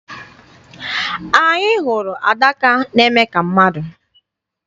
Anyị hụrụ adaka na-eme ka mmadụ.